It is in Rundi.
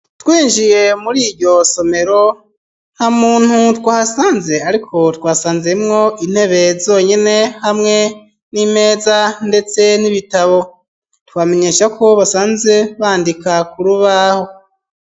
Twinjiye muri iryo somero ntamuntu twahasanze ariko twahasanzemwo intebe zonyene hamwe n'imeza ndetse n'ibitabo twamenyeshako basanze bandika kurubaho.